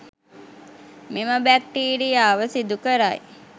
මෙම බැක්ටීරියාව සිදු කරයි